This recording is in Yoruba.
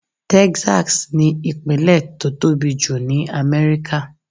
Texas ni ìpínlè tó tóbi jù ní Amẹ́ríkà.